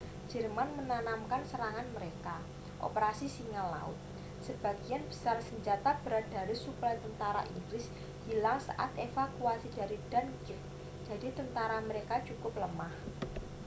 "jerman menamakan serangan mereka operasi singa laut". sebagian besar senjata berat dan suplai tentara inggris hilang saat evakuasi dari dunkirk jadi tentara mereka cukup lemah.